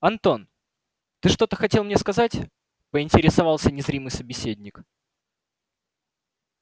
антон ты что-то хотел мне сказать поинтересовался незримый собеседник